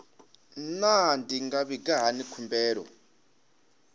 naa ndi nga vhiga hani mbilaelo